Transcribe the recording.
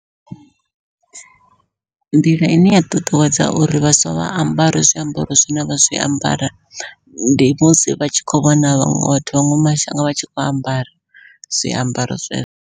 Nḓila ine ya ṱuṱuwedza uri vhaswa vha ambare zwiambaro zwine vha zwiambara, ndi musi vha tshi khou vhona vhaṅwe vhathu vha maṅwe mashango vha tshi kho ambara zwiambaro zwezwo.